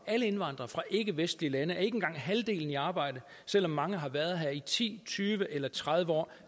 alle indvandrere fra ikkevestlige lande er ikke engang halvdelen i arbejde selv om mange har været her i ti tyve eller tredive år